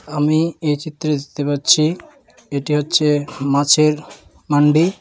আমি এই চিত্রে দেখতে পাচ্ছি এটি হচ্ছে মাছের ম্যান্ডি--